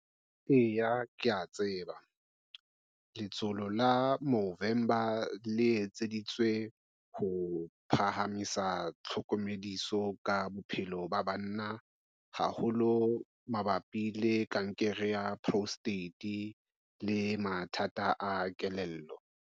Eya ke a tseba. Letsholo la Movember le etseditswe ho phahamisa tlhokomediso ka bophelo ba banna haholo mabapi le kankere ya prostate le mathata a kelello.